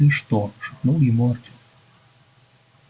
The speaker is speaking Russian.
ты что шепнул ему артём